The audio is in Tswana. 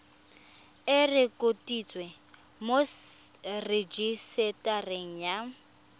e rekotiwe mo rejisetareng ya